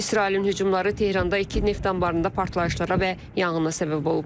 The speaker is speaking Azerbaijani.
İsrailin hücumları Tehranda iki neft anbarında partlayışlara və yanğına səbəb olub.